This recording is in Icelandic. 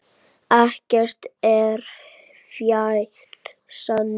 Ekkert er fjær sanni.